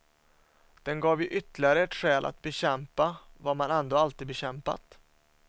Den gav ju ytterligare ett skäl att bekämpa vad man ändå alltid bekämpat.